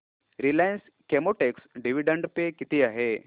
Reliance Chemotex dividend pay किती आहे